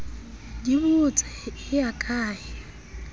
di botse e ya kae